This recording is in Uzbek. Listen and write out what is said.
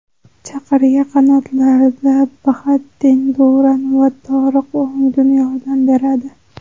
Chaqirga qanotlarda Bahattin Duran va Toriq O‘ngun yordam beradi.